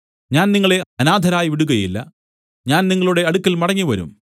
ഞാൻ നിങ്ങളെ അനാഥരായി വിടുകയില്ല ഞാൻ നിങ്ങളുടെ അടുക്കൽ മടങ്ങിവരും